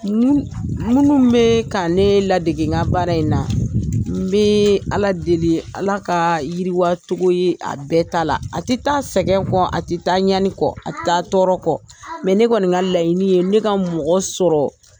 Minnu bɛ ka ne ladegega baara in na n bɛ ala deli ala ka yiriwacogo ye a bɛɛ ta la a tɛ taa sɛgɛn kɔ a tɛ taa ɲani kɔ a tƐ taa tɔɔrɔ kɔ ne kɔni ka layiɲinini ye ne ka mɔgɔ sɔrɔ